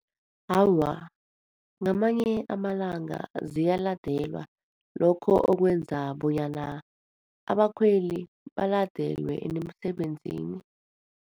Awa, ngamanye amalanga ziyaladelwa, lokho okwenza bonyana abakhweli baladelwe nemsebenzini.